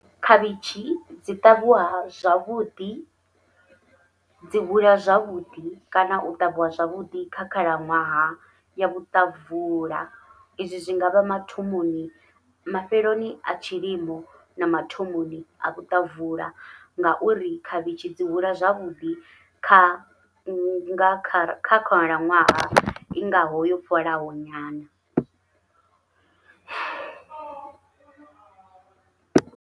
Khavhitshi dzi ṱavhiwa zwavhuḓi dzi hula zwavhuḓi kana u ṱavhiwa zwavhuḓi kha khalaṅwaha ya vhuṱabvula, izwi zwi ngavha mathomoni mafheloni a tshilimo na mathomoni a luṱabvula ngauri khavhishi dzi hula zwavhuḓi kha nga kha khalaṅwaha i ngaho yo fholaho nyana.